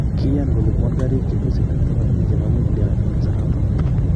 Kiyan kolipuan garik che tos iten 80 chepo nuclear wn kasaraton